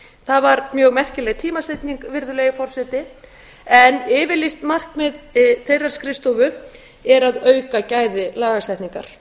það var mjög merkileg tímasetning virðulegi forseti en yfirlýst markmið þeirrar skrifstofu er að auka gæði lagasetningar